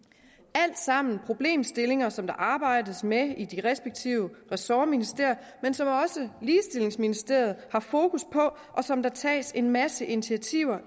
alt sammen problemstillinger som der arbejdes med i de respektive ressortministerier men som også ligestillingsministeriet har fokus på og som der tages en masse initiativer